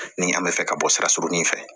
Ni an bɛ fɛ ka bɔ sira surunin fɛ